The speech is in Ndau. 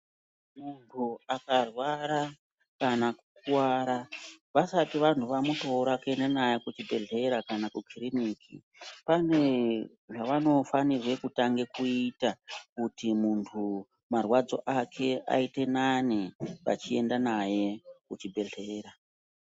Muntu aka rwara kana ku kuvara vasati vantu vamutora kuenda naye ku chibhedhlera kana ku kiriniki pane zvavano fanirwe kutange kuita kuti muntu marwadzo ake ayite nane vachienda naye ku chibhedhleya.